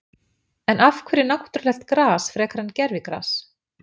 En af hverju náttúrulegt gras frekar en gervigras?